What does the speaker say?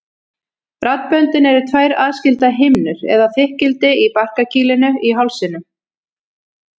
Raddböndin eru tvær aðskildar himnur eða þykkildi í barkakýlinu í hálsinum.